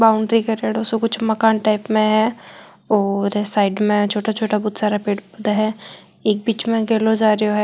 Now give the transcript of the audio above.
बाउंड्री करेड़ा कुछ मकान टाइप में है और साइड में छोटा छोटा गुच्छा पेड़ पौधा है एक बीच में गैलो जा रियो है।